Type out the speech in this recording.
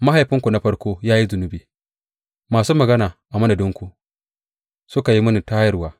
Mahaifinku na farko ya yi zunubi; masu magana a madadinku suka yi mini tayarwa.